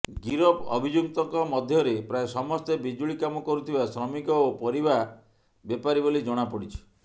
ଗିରଫ ଅଭିଯୁକ୍ତଙ୍କ ମଧ୍ୟରେ ପ୍ରାୟ ସମସ୍ତେ ବିଜୁଳି କାମ କରୁଥିବା ଶ୍ରମିକ ଓ ପରିବା ବେପାରୀ ବୋଲି ଜଣାପଡିଛି